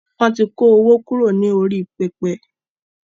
Wọn tí kó owó kúrò ní orí pẹpẹ